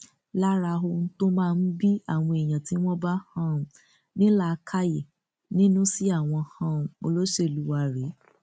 lára ohun tó máa ń bí àwọn èèyàn tí wọn bá um ní làákàyè nínú sí àwọn um olóṣèlú wá rèé